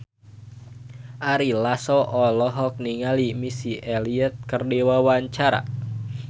Ari Lasso olohok ningali Missy Elliott keur diwawancara